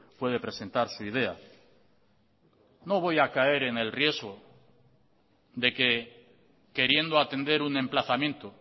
puede presentar su idea no voy a caer en el riesgo de que queriendo atender un emplazamiento